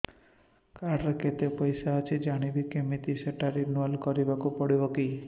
card ରେ କେତେ ପଇସା ଅଛି ଜାଣିବି କିମିତି ସେଟା ରିନୁଆଲ କରିବାକୁ ପଡ଼ିବ କି